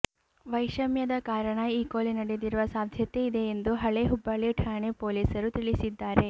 ವೈಷಮ್ಯದ ಕಾರಣ ಈ ಕೊಲೆ ನಡೆದಿರುವ ಸಾಧ್ಯತೆ ಇದೆ ಎಂದು ಹಳೆ ಹುಬ್ಬಳ್ಳಿ ಠಾಣೆ ಪೊಲೀಸರು ತಿಳಿಸಿದ್ದಾರೆ